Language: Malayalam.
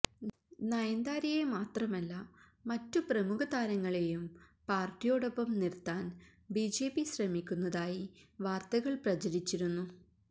നയന്താരയെ മാത്രമല്ല മറ്റു പ്രമുഖ താരങ്ങളേയും പാര്ട്ടിയോട് ഒപ്പം നിര്ത്താന് ബിജെപി ശ്രമിക്കുന്നതായി വാര്ത്തകള് പ്രചരിച്ചിരുന്നു